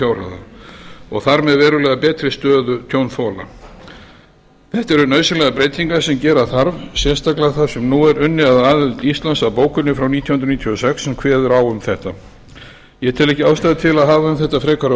takmörkunarfjárhæða og þar með verulega betri stöðu tjónþola þetta eru nauðsynlegar breytingar sem gera þarf sérstaklega þar sem nú er unnið að aðild íslands að bókuninni frá nítján hundruð níutíu og sex sem kveður á um þetta ég tel ekki ástæðu til að hafa um þetta frekari